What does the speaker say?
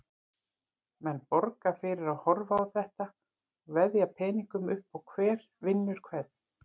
Menn borga fyrir að horfa á þetta og veðja peningum upp á hver vinnur hvern.